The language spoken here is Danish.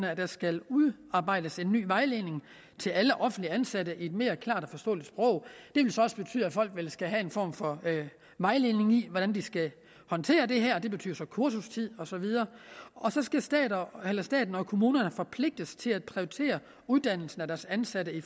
at der skal udarbejdes en ny vejledning til alle offentligt ansatte i et mere klart og forståeligt sprog det vil så også betyde at folk skal have en form for vejledning i hvordan de skal håndtere det her det betyder kursustid og så videre og så skal staten og kommunerne forpligtes til at prioritere uddannelse af deres ansatte i